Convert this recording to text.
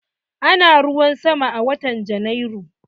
Ana ruwan sama a watan Janairu?